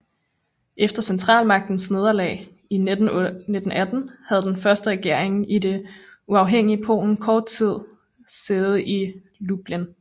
Efter Centralmagternes nederlag i 1918 havde den første regering i det uafhængige Polen kort tid sæde i Lublin